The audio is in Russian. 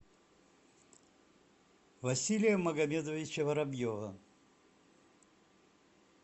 василия магомедовича воробьева